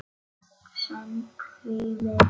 Víst seint, því miður.